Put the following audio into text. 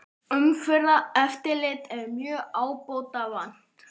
Umferðareftirlit er mjög ábótavant